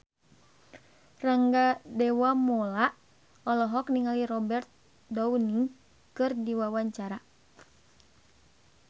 Rangga Dewamoela olohok ningali Robert Downey keur diwawancara